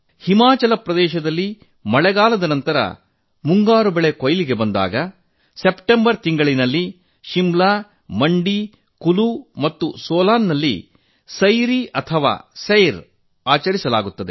ಹಿಮಾಚಲ ಪ್ರದೇಶದಲ್ಲಿ ಮಳೆಗಾಲದ ನಂತರ ಮುಂಗಾರು ಬೆಳೆ ಕೊಯ್ಲಿಗೆ ಬಂದಾಗ ಸೆಪ್ಟೆಂಬರ್ ತಿಂಗಳಿನಲ್ಲಿ ಶಿಮ್ಲಾ ಮಂಡಿ ಕುಲು ಮತ್ತು ಸೋಲನ್ ನಲ್ಲಿ ಸೈರಿ ಅಥವಾ ಸೈರ್ ಆಚರಿಸಲಾಗುತ್ತದೆ